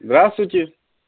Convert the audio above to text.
здравствуйте